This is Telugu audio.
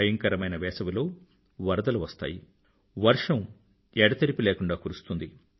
భయంకరమైన వేసవిలో వరదలు వస్తాయి వర్షం విజయం ఎడతెరిపి లేకుండా కురుస్తుంది